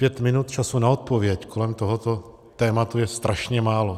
Pět minut času na odpověď kolem tohoto tématu je strašně málo.